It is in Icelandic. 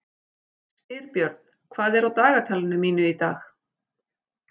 Styrbjörn, hvað er á dagatalinu mínu í dag?